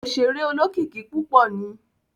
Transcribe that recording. Oṣere olókìkí púpọ ni